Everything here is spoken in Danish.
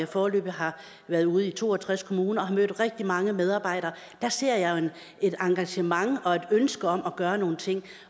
foreløbig været ude i to og tres kommuner og mødt rigtig mange medarbejdere ser jeg jo et engagement og et ønske om at gøre nogle ting